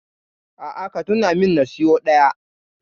A'a, ka tuna min na siyo ɗaya.